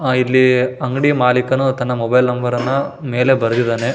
ಆ ಇಲ್ಲಿ ಅಂಗಡಿ ಮಾಲಿಕನು ತನ್ನ ಮೊಬೈಲ್ ನಂಬರ್ ಅನ್ನು ಮೇಲೆ ಬರೆದಿದ್ದಾನೆ.